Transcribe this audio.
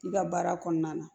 I ka baara kɔnɔna na